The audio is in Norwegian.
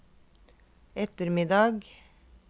ettermiddag